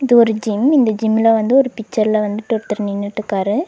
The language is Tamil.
இது ஒரு ஜிம் இந்த ஜிம்ல வந்து ஒரு பிச்சர்ல வந்துட்டு ஒர்தர் நின்னுட்டுக்காரு.